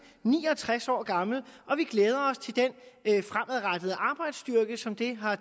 ni og tres år gammel og vi glæder os til den fremadrettede arbejdsstyrke som det har